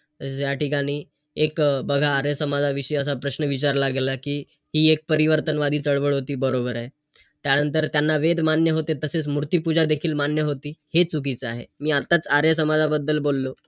तर या ठिकाणी एक बघा आर्य समाजाशी असा प्रश्न विचारला गेला कि हि एक परिवर्तनवादी चळवळ होती? बरोबर आहे. त्यानंतर त्यांना वेदमान्य होतं. ते तसेच मूर्तिपूजा देखील मान्य होती. हे चुकीचं आहे. मी आताच आर्य समाजाबद्दल बोललो.